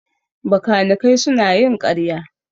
Bakanikai suna yin ƙarya